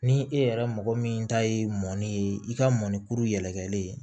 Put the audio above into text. Ni e yɛrɛ mɔgɔ min ta ye mɔni ye i ka mɔnikuru yɛlɛkɛlen